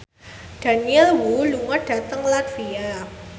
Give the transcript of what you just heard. Daniel Wu lunga dhateng latvia